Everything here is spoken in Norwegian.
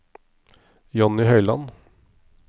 Jonny Høiland